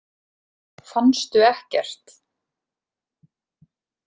Fannstu ekkert?